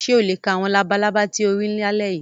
Ṣé o lè ka àwọn labalábá tí ó lè rí lálẹ́ yìí?